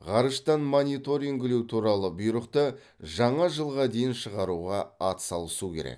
ғарыштан мониторингілеу туралы бұйрықты жаңа жылға дейін шығаруға атсалысу керек